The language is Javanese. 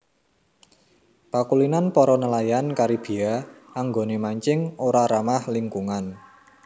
Pakulinan para nelayan Karibia anggoné mancing ora ramah lingkungan